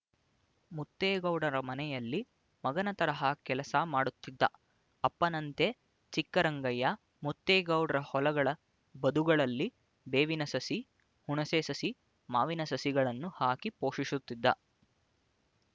ಮುತ್ತೇಗೌಡರ ಮನೆಯಲ್ಲಿ ಮಗನ ತರಹ ಕೆಲಸ ಮಾಡುತ್ತಿದ್ದ ಅಪ್ಪನಂತೆ ಚಿಕ್ಕರಂಗಯ್ಯ ಮುತ್ತೇಗೌಡ್ರ ಹೊಲಗಳ ಬದುಗಳಲ್ಲಿ ಬೇವಿನ ಸಸಿ ಹುಣಸೆ ಸಸಿ ಮಾವಿನ ಸಸಿಗಳನ್ನು ಹಾಕಿ ಪೋಷಿಸುತ್ತಿದ್ದ